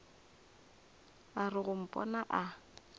a re go mpona a